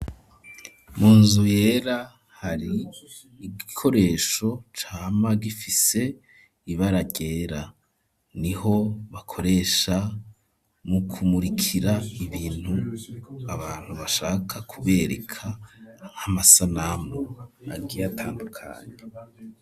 Munzu yera hari igikoresho cama gifise ibara ryera niho bakoresha nu kumurikira ibintu abantu bashaka kubereka nk'amasanamu agiye atandukanye.